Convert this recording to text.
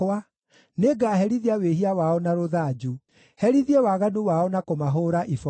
nĩngaherithia wĩhia wao na rũthanju, herithie waganu wao na kũmahũũra iboko;